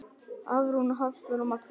Hafrún, Hafþór og Magnús.